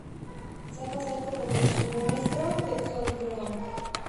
заказать крупу гречневую мистраль пятьсот грамм